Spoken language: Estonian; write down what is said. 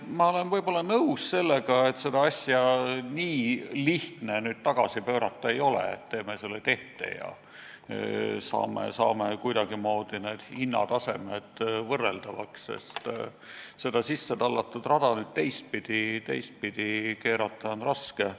Ma olen nõus, et seda asja nii lihtne tagasi pöörata ei ole, et teeme selle tehte ja saame kuidagimoodi need hinnatasemed võrreldavaks, sest seda sissetallatud rada teistpidi keerata on raske.